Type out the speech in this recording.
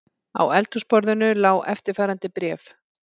Á eldhúsborðinu lá eftirfarandi bréf